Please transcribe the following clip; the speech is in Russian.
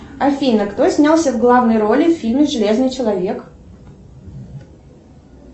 афина кто снялся в главной роли в фильме железный человек